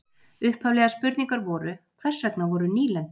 Upphaflegar spurningar voru: Hvers vegna voru nýlendur?